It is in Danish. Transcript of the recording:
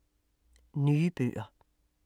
Nye bøger